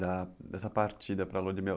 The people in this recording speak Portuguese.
da dessa partida para Lua de Mel.